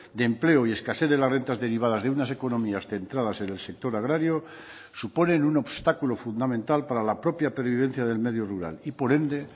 de empleo y escasez de las rentas derivadas de unas economías centradas en el sector agrario suponen un obstáculo fundamental para la propia pervivencia del medio rural y por ende